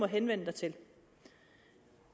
henvende sig til